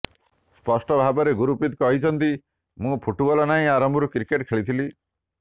ସ୍ପଷ୍ଟ ଭାବରେ ଗୁରପ୍ରୀତ କହିଛନ୍ତି ମୁଁ ଫୁଟବଲ ନାହିଁ ଆରମ୍ଭରୁ କ୍ରିକେଟ ଖେଳିଥିଲି